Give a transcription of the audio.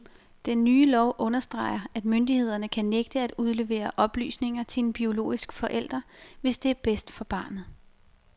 Den nye lov understreger, at myndighederne kan nægte at udlevere oplysninger til en biologisk forælder, hvis det er bedst for barnet.